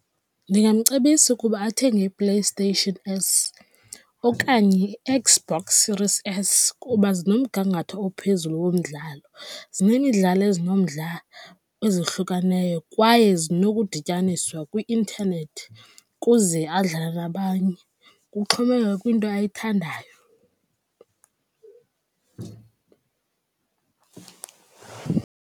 Ndingamcebisa ukuba athenge iPlayStation S okanye uXbox Series S kuba zinomgangatho ophezulu womdlalo. Zinemidlalo ezinomdla ezohlukaneyo kwaye zinokudityaniswa kwi-intanethi kuze adlale nabanye. Kuxhomekeka kwinto ayithandayo.